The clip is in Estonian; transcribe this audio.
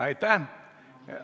Aitäh!